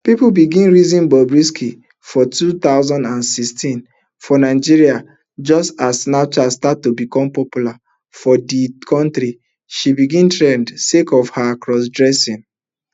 pipo begin reason bobrisky for two thousand and sixteen for nigeria just as snapchat start to become popular for di kontri she begin trend sake of her crossdressing